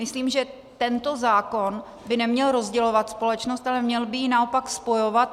Myslím, že tento zákon by neměl rozdělovat společnost, ale měl by ji naopak spojovat.